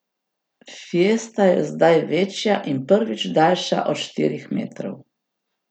Fiesta je zdaj večja in prvič daljša od štirih metrov.